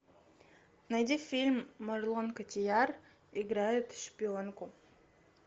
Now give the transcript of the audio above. найди фильм марион котийяр играет шпионку